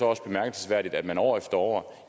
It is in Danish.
også bemærkelsesværdigt at man år efter år